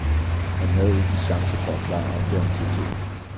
Han havde ikke en chance for at klare opgaven til tiden.